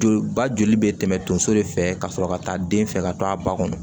Joli ba joli bɛ tɛmɛ donso de fɛ ka sɔrɔ ka taa den fɛ ka to a ba kɔnɔ